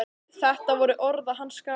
Þetta voru orð að hans skapi.